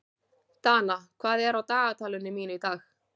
Dana, hvað er á dagatalinu mínu í dag?